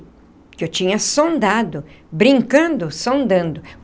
Porque eu tinha sondado, brincando, sondando.